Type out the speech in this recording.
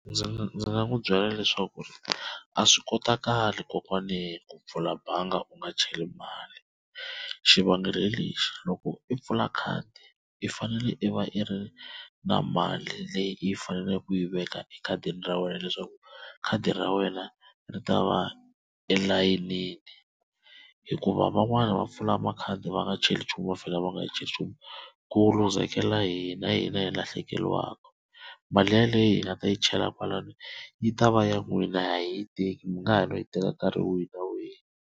Ndzi nga n'wi byela leswaku a swi kotakali kokwane ku pfula bangi u nga cheli mali xivangelo hi lexi loko i pfula khadi i fanele i va i ri na mali leyi i faneleke ku yi veka ekhadini ra wena leswaku khadi ra wena ri ta va elayinini hikuva van'wana va pfula makhadi va nga cheli nchumu ku lose-kela hina hina hi lahlekeriwaka mali yaleyo hi nga ta yi chela kwalano yi ta va ya n'wina a hi yi teki mi nga ha no yi teka nkarhi wihi na wihi.